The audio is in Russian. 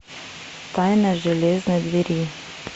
тайна железной двери